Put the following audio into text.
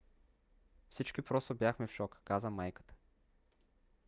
"всички просто бяхме в шок, каза майката